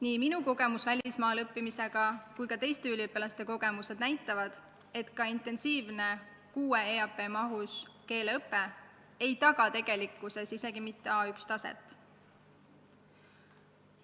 Nii minu kogemused välismaal õppimisega kui ka teiste üliõpilaste kogemused näitavad, et ka intensiivne kuue EAP mahus keeleõpe ei taga tegelikkuses isegi mitte A1 taset.